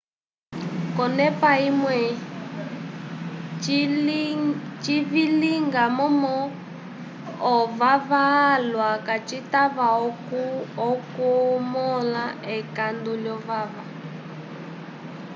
konepa imwe cilivila momo ovava alwa kacitava okumola ekandu lovava